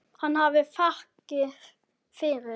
Hafi hann þakkir fyrir.